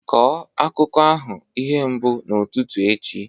Kọọ akụkọ ahụ ihe mbụ n'ụtụtụ echi!